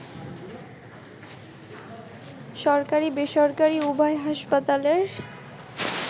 সরকারী-বেসরকারী উভয় হাসপাতালের